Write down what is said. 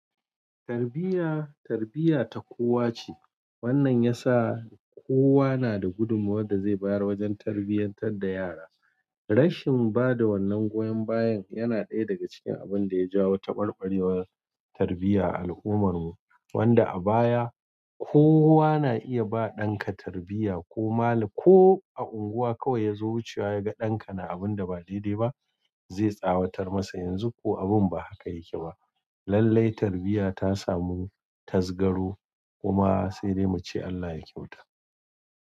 Tarbiyya, tarbiyya ta kowa ce. Wannan ya sa kowa na da gudumawar da zai bayar wajen tarbiyyantar da yara. Rashin bada wannan goyon bayan yana ɗaya daga cikin abun da ya jawo taɓarɓarewa tarbiyya a al'ummar mu, wanda a baya kowa na iya ba ɗanka tarbiyya ko mali, ko a unguwa kawai ya zo wucewa ya ga ɗanka na abun da ba daidai ba, zai tsawatar masa. Yanzu ko abun ba haka yake ba. Lalle tarbiyya ta samu tazgaro kuma sai dai muce Allah ya kyauta.